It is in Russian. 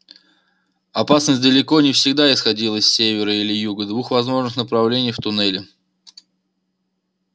опасность далеко не всегда исходила с севера или юга двух возможных направлений в туннеле